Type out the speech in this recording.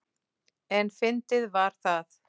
En fyndið var það.